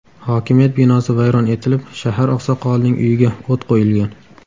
Hokimiyat binosi vayron etilib, shahar oqsoqolining uyiga o‘t qo‘yilgan.